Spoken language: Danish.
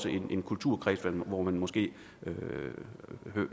en kulturkreds hvor man måske